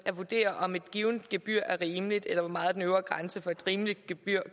at vurdere om et givet gebyr er rimeligt eller hvor meget den øvre grænse for et rimeligt gebyr